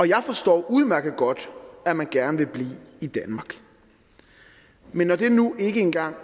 jeg forstår udmærket godt at man gerne vil blive i danmark men når det nu engang